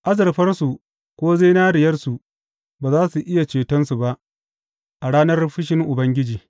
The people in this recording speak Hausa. Azurfarsu ko zinariyarsu ba za su iya cetonsu ba a ranar fushin Ubangiji.